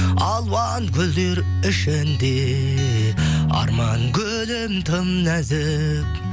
алуан гүлдер ішінде арман гүлім тым нәзік